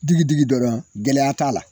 Digidigi dɔrɔn gɛlɛya t'a la.